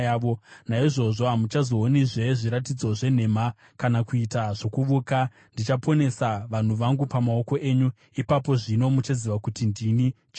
naizvozvo hamuchazoonizve zviratidzo zvenhema kana kuita zvokuvuka. Ndichaponesa vanhu vangu pamaoko enyu. Ipapo zvino muchaziva kuti ndini Jehovha.’ ”